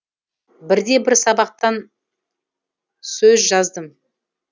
бірде бір сабақтан сөж жаздым